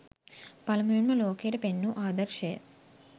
පළමුවෙන්ම ලෝකයට පෙන් වූ ආදර්ශය,